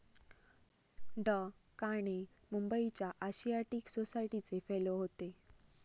डॉ.काणे मुंबईच्या आशियाटिक सोसायटीचे फेलो होते.